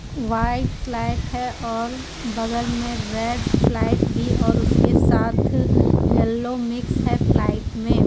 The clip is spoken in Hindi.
व्हाइट फ्लाइट है और बगल में रेड फ्लाइट भी और उसके साथ येलो मिक्स है फ्लाइट में.